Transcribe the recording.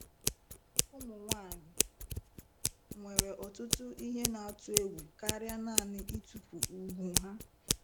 Ụmụ nwanyị nwere ọtụtụ ihe na-atụ egwu karịa naanị itufu ùgwù ha.